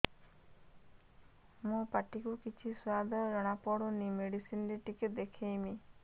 ମୋ ପାଟି କୁ କିଛି ସୁଆଦ ଜଣାପଡ଼ୁନି ମେଡିସିନ ରେ ଟିକେ ଦେଖେଇମି